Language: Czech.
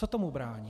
Co tomu brání?